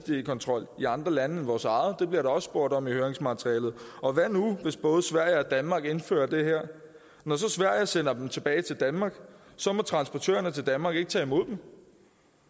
kontrol i andre lande end vores eget det bliver der også spurgt om i høringsmaterialet og hvad nu hvis både sverige og danmark indfører det her når så sverige sender dem tilbage til danmark må transportørerne til danmark ikke tage imod dem